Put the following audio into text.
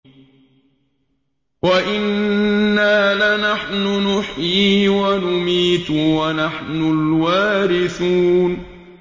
وَإِنَّا لَنَحْنُ نُحْيِي وَنُمِيتُ وَنَحْنُ الْوَارِثُونَ